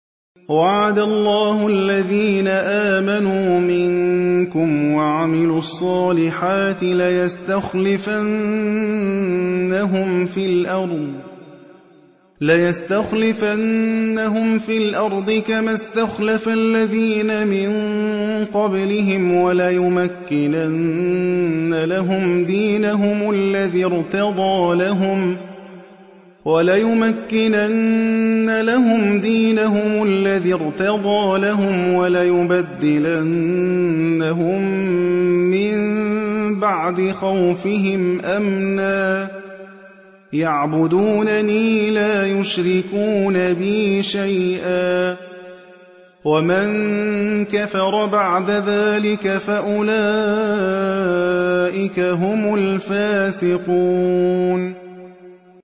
وَعَدَ اللَّهُ الَّذِينَ آمَنُوا مِنكُمْ وَعَمِلُوا الصَّالِحَاتِ لَيَسْتَخْلِفَنَّهُمْ فِي الْأَرْضِ كَمَا اسْتَخْلَفَ الَّذِينَ مِن قَبْلِهِمْ وَلَيُمَكِّنَنَّ لَهُمْ دِينَهُمُ الَّذِي ارْتَضَىٰ لَهُمْ وَلَيُبَدِّلَنَّهُم مِّن بَعْدِ خَوْفِهِمْ أَمْنًا ۚ يَعْبُدُونَنِي لَا يُشْرِكُونَ بِي شَيْئًا ۚ وَمَن كَفَرَ بَعْدَ ذَٰلِكَ فَأُولَٰئِكَ هُمُ الْفَاسِقُونَ